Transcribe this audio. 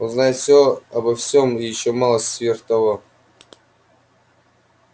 он знает всё обо всём и ещё малость сверх того